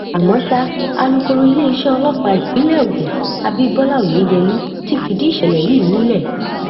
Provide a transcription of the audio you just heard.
àmọ ṣá àlùkòrò iléeṣẹ ọlọpàá ìpínlẹ ogun s abibọlá oyeyèmí ti fìdí ìṣẹlẹ yìí múlẹ